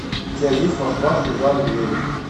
у тебя есть москва слезам не верит